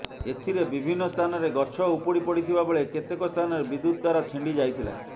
ଏଥିରେ ବିଭିନ୍ନ ସ୍ଥାନରେ ଗଛ ଉପୁଡ଼ି ପଡ଼ିଥିବାବେଳେ କେତେକ ସ୍ଥାନରେ ବିଦ୍ୟୁତ ତାର ଛିଣ୍ଡି ଯାଇଥିଲା